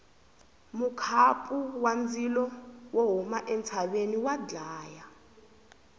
mukhapu wa ndzilo wo huma entshaveni wa dlaya